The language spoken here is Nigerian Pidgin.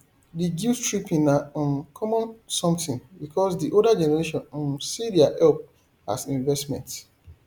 the guilt tripping na um common something because di older generation um see their help as investment